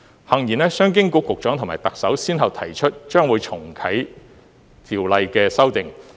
幸而，商經局局長及特首先後提出將會重啟條例的修訂。